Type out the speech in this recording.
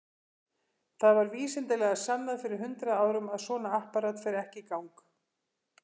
Það var vísindalega sannað fyrir hundrað árum að svona apparat fer ekki í gang.